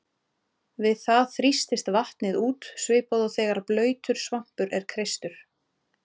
Við þetta þrýstist vatnið út svipað og þegar blautur svampur er kreistur.